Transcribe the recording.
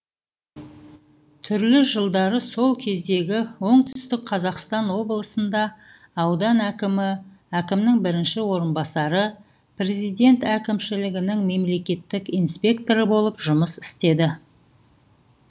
түрлі жылдары сол кездегі оңтүстік қазақстан облысында аудан әкімі әкімнің бірінші орынбасары президент әкімшілігінің мемлекеттік инспекторы болып жұмыс істеді